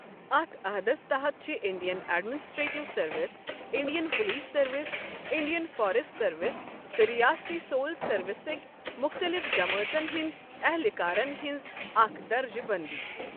اتھ عٔہدَس تَحَت چھِ Indian Administrative Service, Indian Police Service, Indian Forest Service تہٕ ریاستی سول سروسٕک مختلف جَمٲژن ہنٛد اہلکارن ہنٛز اکھ درجہِ بندی۔